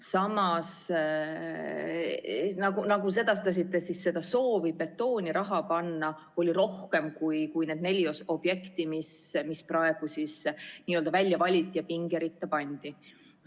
Samas, nagu sedastasite, soovi betooni raha panna oli rohkem kui need neli objekti, mis praegu välja valiti ja pingeritta pandi.